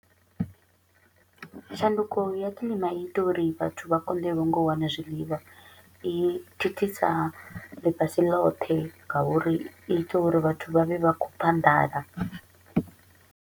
Tshanduko ya kilima i ita uri vhathu vha konḓelwe nga u wana zwiḽiwa, i thithisa ḽifhasi ḽoṱhe nga uri i ita uri vhathu vha vhe vha kho u pfa nḓala.